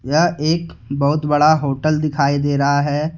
यह एक बहुत बड़ा होटल दिखाई दे रहा है।